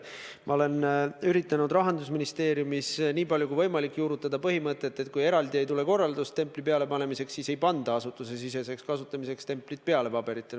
Ma olen üritanud Rahandusministeeriumis nii palju kui võimalik juurutada põhimõtet, et kui eraldi ei tule korraldust selle templi pealepanemiseks, siis "Asutusesiseseks kasutamiseks" templit paberitele peale ei panda.